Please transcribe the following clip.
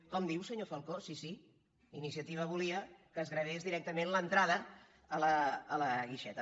com diu senyor falcó sí sí iniciativa volia que es gravés directament l’entrada a la guixeta